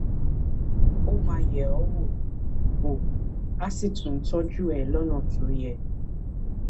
ó máa yẹ ọ wò wò á sì tọjú ẹ lọnà tó yẹ